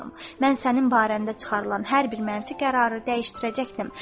Mən sənin barəndə çıxarılan hər bir mənfi qərarı dəyişdirəcəkdim.